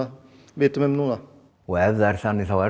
vitum um núna og ef það er þannig þá er